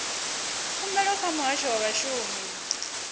khumbelo kha muhasho wa vhashumi